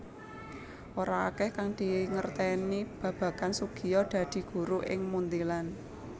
Ora akèh kang dingertèni babagan Soegija dadi guru ing Munthilan